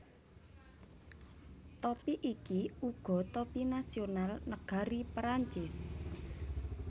Topi iki uga topi nasional nagari Prancis